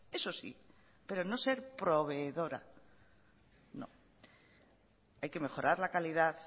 eso sí pero no ser proveedora no hay que mejorar la calidad